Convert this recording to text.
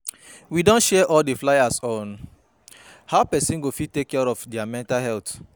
We don share all the fliers on how person go fit take care of their mental health